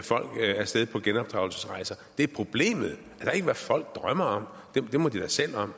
folk af sted på genopdragelsesrejser det er problemet det er ikke hvad folk drømmer om det må de da selv om